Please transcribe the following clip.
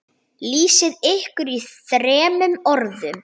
Lýsið ykkur í þremur orðum.